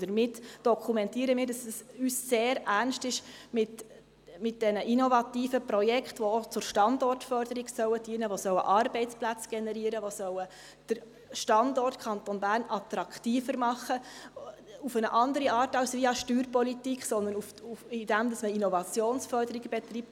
Damit dokumentieren wir, dass es uns sehr ernst ist mit diesen innovativen Projekten, die auch der Standortförderung dienen sollen, die Arbeitsplätze generieren sollen, die den Standort Kanton Bern attraktiver machen sollen – auf eine andere Art als via Steuerpolitik, sondern indem man Innovationsförderung betreibt.